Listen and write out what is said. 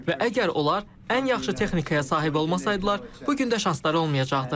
və əgər onlar ən yaxşı texnikaya sahib olmasaydılar, bu gün də şansları olmayacaqdı.